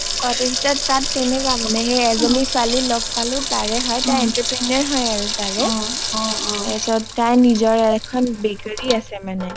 তাত তেনেকুৱা মানে , তাত এজনী ছোৱালী লগ পালো , তাৰে হয় তাই entrepreneur হয় তাৰে টাই নিজৰে এখন bakery আছে মানে